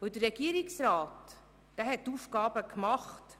Der Regierungsrat hat seine Aufgaben gemacht.